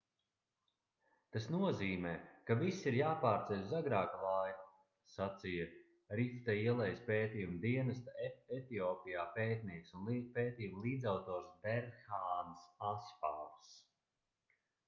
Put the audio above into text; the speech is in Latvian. tas nozīmē ka viss ir jāpārceļ uz agrāku laiku sacīja rifta ielejas pētījumu dienesta etiopijā pētnieks un pētījuma līdzautors berhāns asfavs